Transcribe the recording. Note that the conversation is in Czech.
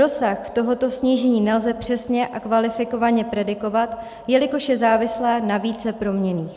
Rozsah tohoto snížení nelze přesně a kvalifikovaně predikovat, jelikož je závislé na více proměnách.